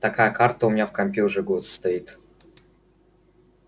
такая карта у меня в компе уже год стоит